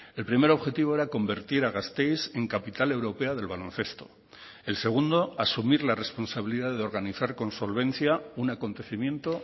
el primer objetivo era convertir a gasteiz en capital europea del baloncesto el segundo asumir la responsabilidad de organizar con solvencia un acontecimiento